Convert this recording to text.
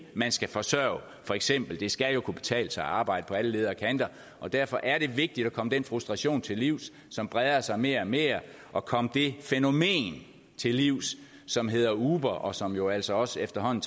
man skal forsørge for eksempel skal det jo kunne betale sig at arbejde på alle leder og kanter og derfor er det vigtigt at komme den frustration til livs som breder sig mere og mere og at komme det fænomen til livs som hedder uber og som jo altså også efterhånden